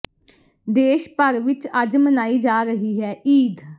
ਦੇਸ਼ ਭਰ ਵਿੱਚ ਅੱਜ ਮਨਾਈ ਜਾ ਰਹੀ ਹੈ ਈਦ